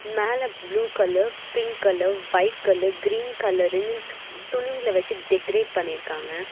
மேல blue colour pink colour white colour green கலருனு துணிங்கள வச்சு டெக்கரேட் பண்ணி இருக்காங்க.